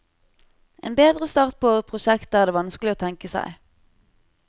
En bedre start på prosjektet er det vanskelig å tenke seg.